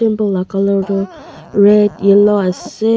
laga colour tu red yellow ase.